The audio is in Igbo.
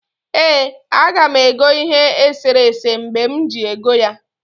ee, aga m ego ihe eserese mgbe m ji ego ya